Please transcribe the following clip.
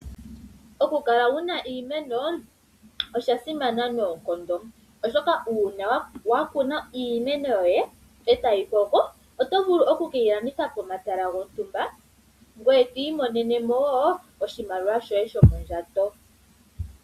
Okukala wuna iimeno osha simana noonkondo, oshoka uuna wakuna iimeno yoye etayi koko , oto vulu okukeyi landitha pomatala gontumba, ngoye twiimonenemo oshimaliwa shoye shomondjato.